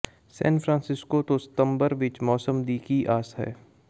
ਸੈਨ Francisco ਤੋਂ ਸਤੰਬਰ ਵਿੱਚ ਮੌਸਮ ਦੀ ਕੀ ਆਸ ਹੈ